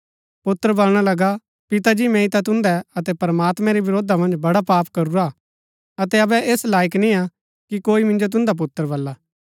पुत्र बलणा लगा पिता जी मैंई ता तुन्दै अतै प्रमात्मैं रै विरोधा मन्ज बड़ा पाप करूरा हा अतै अबै ऐस लाईक नियां कि कोई मिन्जो तुन्दा पुत्र बल्ला